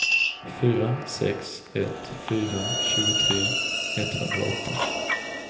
fyra sex ett fyra tjugotre etthundraåtta